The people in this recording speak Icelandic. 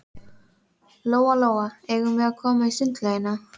Lóa Lóa, eigum við að koma í sundlaugina?